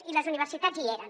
i les universitats hi eren